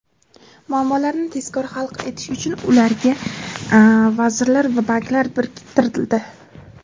muammolarni tezkor hal etish uchun ularga vazirlar va banklar biriktirildi.